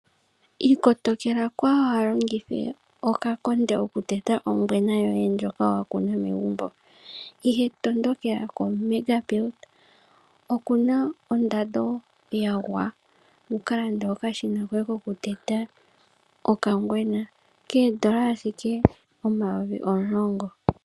Ikotokela kaawu longithe okakonde okuteta ongwena yoye ndjoka wakuna megumbo, ihe tondokela ko Mega Build. Okuna ondando yagwa, wukalande okashina koye kokuteta okangwena, koondola omayovi omulongo.